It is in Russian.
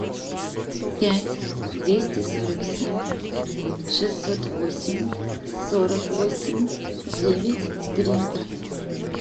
пять двести сорок семь шестьсот восемь сорок восемь девять три